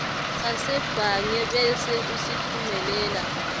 sasebhange bese usitfumelela